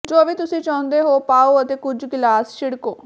ਜੋ ਵੀ ਤੁਸੀਂ ਚਾਹੁੰਦੇ ਹੋ ਪਾਓ ਅਤੇ ਕੁਝ ਗਲਾਮ ਛਿੜਕੋ